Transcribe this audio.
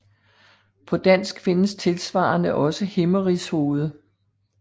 På dansk findes tilsvarende også Himmerigshoved